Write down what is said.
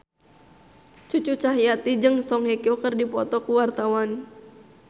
Cucu Cahyati jeung Song Hye Kyo keur dipoto ku wartawan